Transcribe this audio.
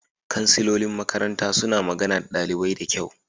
Kansilolin makaranta suna magana da ɗalibai da kyau.